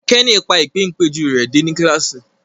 Kenny pa Ìpéǹpéjú rẹ dé ní kilasi